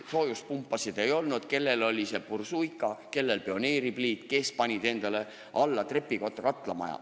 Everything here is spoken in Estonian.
Soojuspumpasid ei olnud, kellelgi oli bursuika, kellelgi Pioneeri pliit, keegi tegi trepikotta katlamaja.